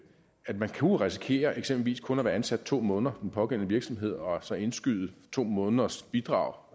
at man kunne risikere eksempelvis kun at være ansat i to måneder i den pågældende virksomhed og så indskyde to måneders bidrag